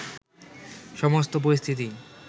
সমস্ত পরিস্থিতি